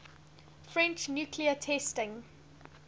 french nuclear testing